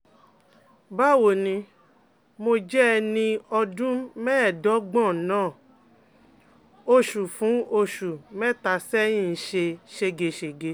Báwo ni, mo jẹ́ ẹni ọdún mẹ́ẹ̀ẹ́dọ́gbọ̀n, nnan oṣù fún oṣù mẹ́ta sẹ́yìn ń ṣe ségesège